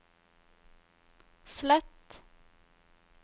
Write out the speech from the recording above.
slett